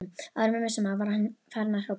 Áður en við vissum af var hann farinn að hrópa